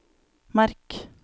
merk